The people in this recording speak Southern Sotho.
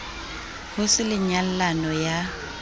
ho se le nyallano ya